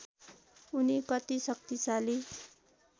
उनी कति शक्तिशाली